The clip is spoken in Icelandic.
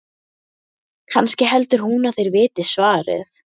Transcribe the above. Kannski heldur hún að þeir viti svarið?